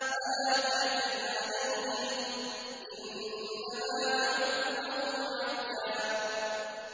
فَلَا تَعْجَلْ عَلَيْهِمْ ۖ إِنَّمَا نَعُدُّ لَهُمْ عَدًّا